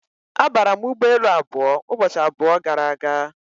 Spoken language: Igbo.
Abara m ụgbọelu abụọ ụbọchị abụọ gara aga.